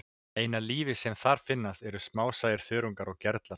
Eina lífið sem þar finnst eru smásæir þörungar og gerlar.